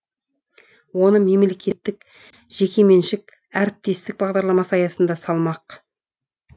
оны мемлекеттік жекеменшік әріптестік бағдарламасы аясында салмақ